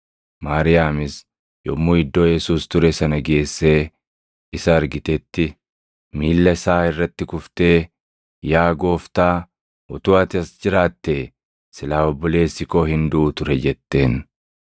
Maariyaamis yommuu iddoo Yesuus ture sana geessee isa argitetti, miilla isaa irratti kuftee, “Yaa Gooftaa utuu ati as jiraattee silaa obboleessi koo hin duʼu ture” jetteen.